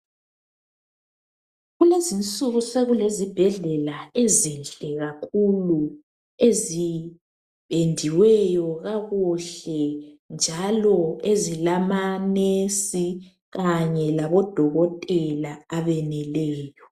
Kulezinsuku sekule zibhedlela ezinhle kakhulu, ezipendiweyo kakuhle njalo ezilama "nurse" kanye labo dokotela abeneleyo.